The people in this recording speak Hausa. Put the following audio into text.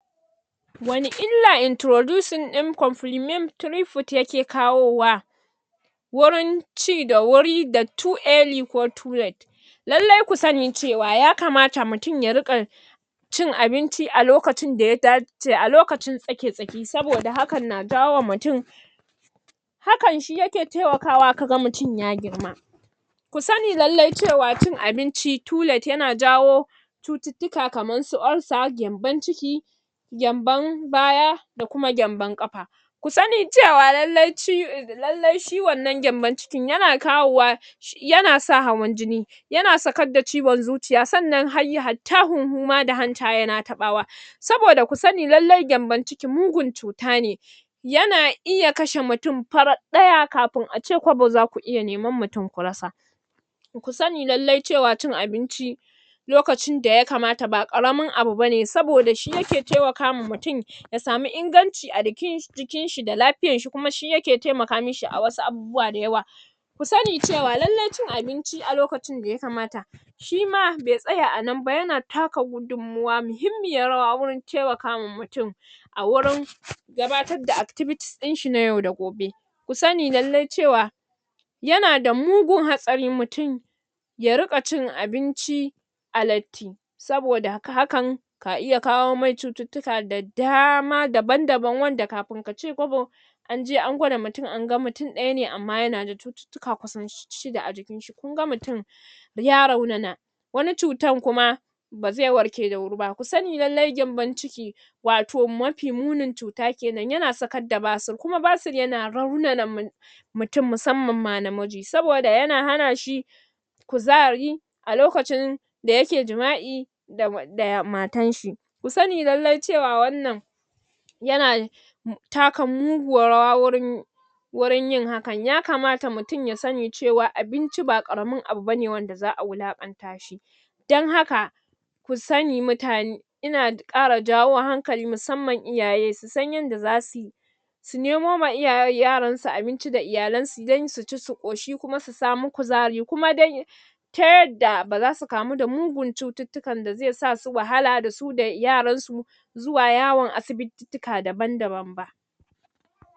Wanne illa introducing ɗin complimentary foods yake kawowa wurin ci da wuri da too early ko too late lallai ku sani cewa yakamata mutum ya riƙa cin abinci a lokacin daya daace, a lokacin tsake-tsaki saboda hakan na jawowa mutum hakan shi yake taimakawa kaga mutum ya girma kusani lallai cewa abinci too late yana jawo kamar su ulcer gyanbon ciki gyanbon baya da kuma gyanbon ƙafa ku sani cewa lallai ciwo lallai shi wannan gyanbon cikin yana kawo wa yana sa hawan jini yana sakar da ciwon zuciya sannan hayya hatta huhun ma da hanta yana taɓawa saboda ku sani lallai gyanbon ciki mugun cutane yana iya kashe mutum farat ɗaya kafin ace kwabo zaku iya neman mutum ku rasa to kusani lallai cewa cin abinci lokacin daya kamata ba ƙaramin abu bane saboda shi yake taimakawa ya samu inganci a cikin jikin shi da lafiyar shi, kuma shi yake taimaka mishi a wasu abubuwa da yawa ku sani cewa lallai cikin abinci a lokacin daya kamata shima bai tsaya a nan ba, yana taka gudunwawa mihimmiyar rawa wurin taimakawa mutum a wurin gabatar da activities ɗin shi na yau da gobe kusani lallai cewa yana da mugun hatsari mutum ya riƙa cikin abinci a latti saboda da ga hakan ka iya kawo masa cututtuka da dama daban-dabam wanda kafin kace kwabo anje an gwada mutum an ga mutum ɗaya na amma yana da cututtuka kasan shida a jikin shi, kunga mutum ya raunana wani cutar kuma ba zai warke da wuri ba, kusani lallai gyanbon ciki wato mafi munin cuta kenan, yana sakar da basir, kuma basir yana raunana mutu mutum, musammanma namiji saboda yana hana shi kuzari a loakcin da yake jima'i da wan da matar shi ku sani lallai cewa wannan yana taka muguwar rawa wurin wurin yin hakan, yakamata mutum ya sani cewa abinci ba ƙaramin abu bane wanda za'a wulaƙanta shi dan haka ku sani mutane ina ƙara jawo hankali musamman iyaye su san yadda zasuyi su nemo wa iyay yaransu abinci da iyalan su don su ci su ƙoshi kuma su samu kuzari kuma dai ta yadda ba zasu kamu da mugun cututtukan da zai sa su wahala dasu da yaran su zuwa yawon asibitittika daban-daban ma